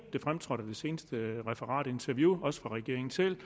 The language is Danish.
fremtrådte i det seneste referat og interview også fra regeringen selv